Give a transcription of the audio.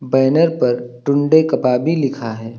Banner पर टुंडे कबाबी लिखा है।